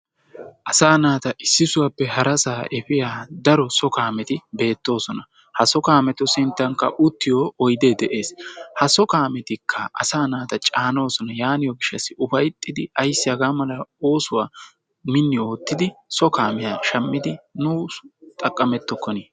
Asaa naata issisaappe harasaa efiya daro so kaameti beettoosona. Ha so kaametu sinttankka uttiyo oyidee de'ees. Ha so kaametikka asa naata caanoosona. Yaaniyo gishshassi ufayittiiddi ayissi hagaa mala oosuwa minni oottidi so kaamiya shammidi nu xaqqamettokkoni?